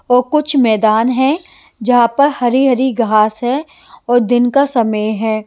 और कुछ मैदान है जहाँ पर हरी-हरी घास है और दिन का समय है।